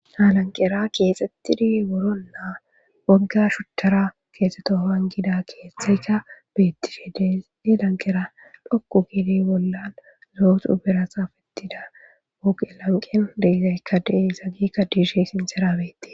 halanqera keexettidi woronnaa wogga shuttara keexeto hangida keeththeyka beettishe de e lanqera dhokku gide bollan zooxu berasafetida wooqe lanqen deyzayka de zagikka diishey sinxerabeti